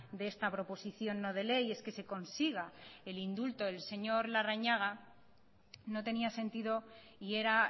de esta proposición no de ley es que se consiga el indulto del señor larrañaga no tenía sentido y era